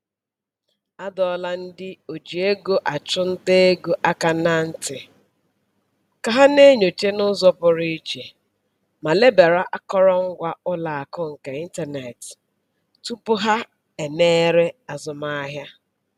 Adọọla ndị oji ego achụ nta ego aka ná ntị ka ha na-enyocha n'ụzọ pụrụ iche ma lebara akọrọngwa ụlọakụ nke ịntanetị tupu ha emere azụmahịa.